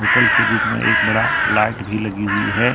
Hotel के room एक बड़ा लाइट भी लगी हुई है।